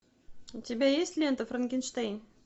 у тебя есть лента франкенштейн